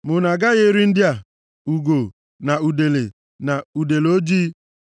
ma unu agaghị eri ndị a: ugo, na udele, na udele ojii,